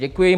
Děkuji.